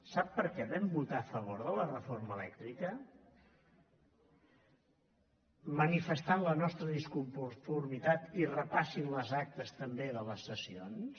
sap per què vam votar a favor de la reforma elèctrica manifestant la nostra disconformitat i repassin les actes també de les sessions